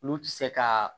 Olu ti se ka